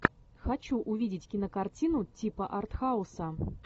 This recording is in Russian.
хочу увидеть кинокартину типа артхауса